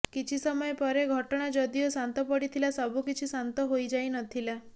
କିଛି ସମୟ ପରେ ଘଟଣା ଯଦିଓ ଶାନ୍ତ ପଡ଼ିଥିଲା ସବୁ କିଛି ଶାନ୍ତ ହୋଇ ଯାଇ ନ ଥିଲା